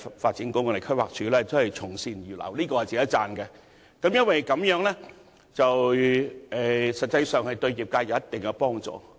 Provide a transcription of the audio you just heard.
發展局和規劃署從善如流，確實值得讚許，而有關資料實際上對業界有一定的幫助。